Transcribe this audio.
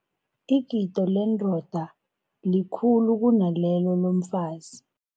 Igilo lendoda likhulu kunalelo lomfazi.